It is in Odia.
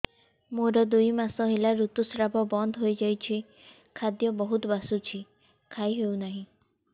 ମୋର ଦୁଇ ମାସ ହେଲା ଋତୁ ସ୍ରାବ ବନ୍ଦ ହେଇଯାଇଛି ଖାଦ୍ୟ ବହୁତ ବାସୁଛି ଖାଇ ହଉ ନାହିଁ